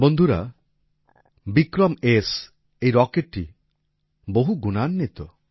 বন্ধুরা বিক্রমএস এই রকেটটি বহুগুণান্বিত